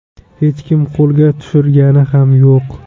Hech kim qo‘lga tushirgani ham yo‘q.